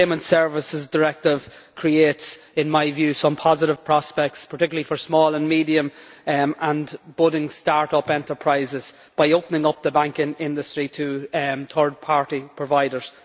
This Payment Services Directive creates, in my view, some positive prospects, particularly for small and medium and budding start up enterprises, by opening up the bank industry to third party providers.